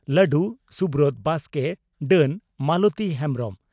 ᱞᱟᱹᱰᱩ (ᱥᱩᱵᱨᱚᱛ ᱵᱟᱥᱠᱮ) ᱰᱟᱹᱱ (ᱢᱟᱞᱚᱛᱤ ᱦᱮᱢᱵᱽᱨᱚᱢ)